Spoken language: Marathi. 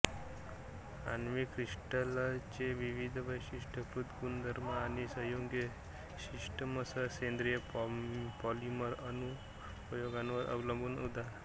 आण्विक क्रिस्टल्सचे विविध वैशिष्ट्यीकृत गुणधर्म आणि संयुगे सिस्टमसह सेंद्रिय पॉलिमर अनुप्रयोगांवर अवलंबून उदा